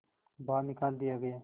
बाहर निकाल दिया गया